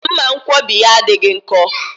Mmanwkọbi ya adịghị nkọ